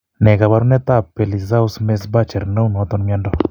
Ne kaabarunetap Pelizaeus Merzbacher ne uu naton mnyando?